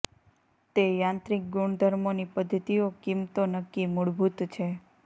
તે યાંત્રિક ગુણધર્મો ની પદ્ધતિઓ કિંમતો નક્કી મૂળભૂત છે